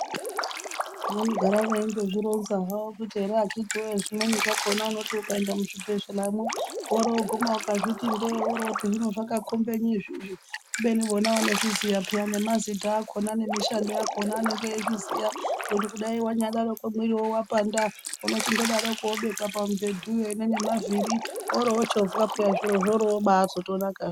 Vanogara veindozvironza havo kuti ere akhithi woyee zvimweni zvakhona unoti ukaenda muzvibhedhlera mwo. Woruguma ukazviti ndee woroti hino zvakakombenyi izvizvi. Kubeni vona vanozviziya peyaa nemazita akhona nemishando yakhona vanenge veiziya. Nekuti kudai wanyadaroko mwiri wapanda. Unochindodarokwo wobekwa pamubhedhuwo ine nemavhiri woro wochovhwa peyaa zviro zvoro.